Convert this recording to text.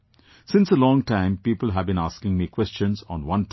Since a long time people have been asking me questions on one topic